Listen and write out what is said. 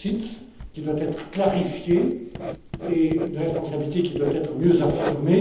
d'OPCVM, qui doivent être clarifiées, et une responsabilité qui doit être mieux affirmée.